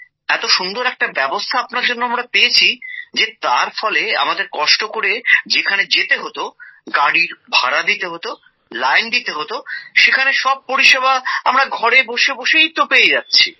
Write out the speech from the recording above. এতো সুন্দর একটা ব্যবস্থা আপনার জন্য আমরা পেয়েছি যে তার ফলে আমাদের কষ্ট করে যেখানে যেতে হতো গাড়ির ভাড়া দিতে হতো লাইন দিতে হতো সেখানে সব পরিষেবা আমরা ঘরে বসে বসেই পেয়ে যাচ্ছি